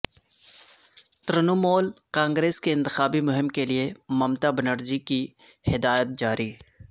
ترنمول کانگریس کی انتخابی مہم کیلئے ممتا بنرجی کی ہدایات جاری